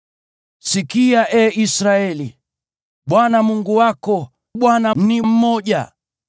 Sikia, ee Israeli: Bwana Mungu wako, Bwana ni mmoja.